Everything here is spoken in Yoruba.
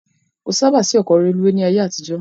Kò sáábà sí ọkọ rélùweè ni ayé àtijó